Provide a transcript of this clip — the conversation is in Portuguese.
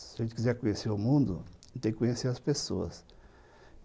Se a gente quiser conhecer o mundo, tem que conhecer as pessoas.